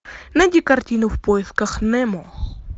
найди картину в поисках немо